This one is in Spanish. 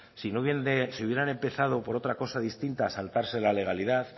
si hubieran empezado por otra cosa distinta saltarse la legalidad